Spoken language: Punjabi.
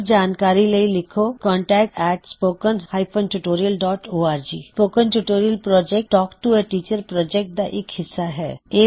ਹੋਰ ਜਾਣਕਾਰੀ ਲਈ ਲਿੱਖੋ contactspoken tutorialorg spoken tutorial project talk to a teacher project ਦਾ ਇਕ ਹਿੱਸਾ ਹੈ